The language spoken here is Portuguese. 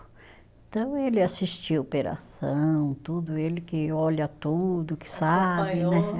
Então, ele assistiu operação, tudo, ele que olha tudo, que sabe, né?